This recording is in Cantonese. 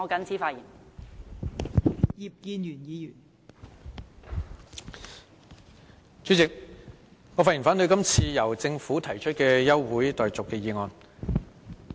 代理主席，我發言反對這項由政府提出的休會待續議案。